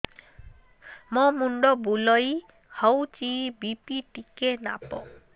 ମୋ ମୁଣ୍ଡ ବୁଲେଇ ହଉଚି ବି.ପି ଟିକେ ମାପ